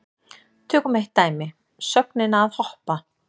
Tökum eitt dæmi, sögnina að hoppa.